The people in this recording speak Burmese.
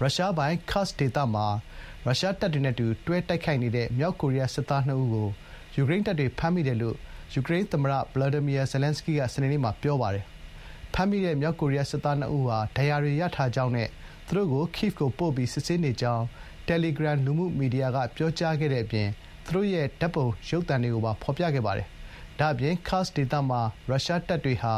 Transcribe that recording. ရုရှားပိုင် Kursk ဒေသမှာ ရုရှားတပ်တွေနဲ့ အတူတွဲ တိုက်ခိုက်နေတဲ့ မြောက်ကိုရီးယား စစ်သား ၂ ဦးကို ယူကရိန်းတပ်တွေ ဖမ်းမိတယ်လို့ သမ္မတ Volodymyr Zelenskyy က စနေနေ့မှာ ပြောပါတယ်။ ဖမ်းမိတဲ့ မြောက်ကိုရီးယား စစ်သား ၂ ဦးဟာ ဒဏ်ရာတွေ ရထားကြောင်းနဲ့ သူတို့ကို Kyiv ကို ပို့ပြီး စစ်ဆေးနေကြောင်း တယ်လီဂရမ် လူမှုမီဒီယာက ပြောကြားခဲ့တဲ့ အပြင် သူတို့ရဲ့ ဓာတ်ပုံကိုပါ ဖေါ်ပြခဲ့ပါတယ်။ ဒါ့အပြင် Kursk ဒေသမှာ ရုရှားတပ်တွေဟာ